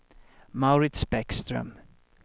Mauritz Bäckström